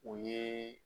O ye